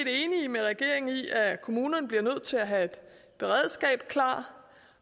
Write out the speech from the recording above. enige med regeringen i at kommunerne bliver nødt til at have et beredskab klar